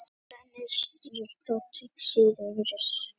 Hún gæti því innihaldið brennisteinsdíoxíð og önnur óæskileg efni.